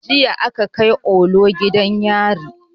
Jiya aka kai olu gidan yari